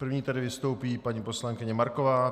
První tedy vystoupí paní poslankyně Marková.